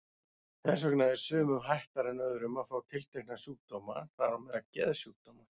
Þess vegna er sumum hættara en öðrum að fá tiltekna sjúkdóma, þar á meðal geðsjúkdóma.